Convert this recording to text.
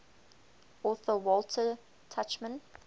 author walter tuchman